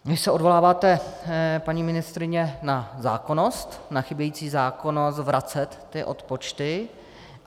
Vy se odvoláváte, paní ministryně, na zákonnost, na chybějící zákonnost vracet ty odpočty.